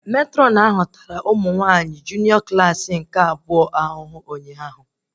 Matrọn ahụ tara ụmụ nwanyị Klassị Two nke junịọ ahụhụ ụnyaahụ